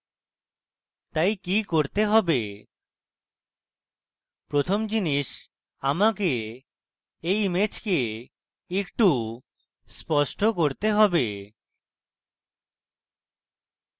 তাই কি করতে have প্রথম জিনিস আমাকে এই image একটু স্পষ্ট করতে have